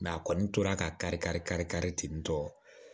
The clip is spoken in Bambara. a kɔni tora ka kari kari kari kari ten tɔ